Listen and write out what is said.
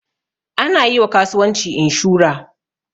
Ana yiwa kasuwanci inshura